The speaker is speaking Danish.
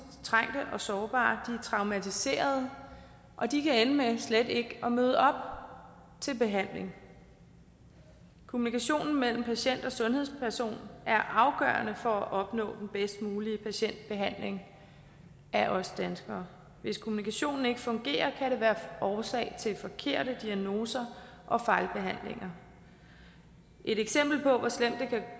trængte og sårbare er traumatiserede og de kan ende med slet ikke at møde op til behandling kommunikationen mellem patienten og sundhedspersonen er afgørende for at opnå den bedst mulige patientbehandling af os danskere hvis kommunikationen ikke fungerer kan det være årsag til forkerte diagnoser og fejlbehandlinger et eksempel på hvor slemt det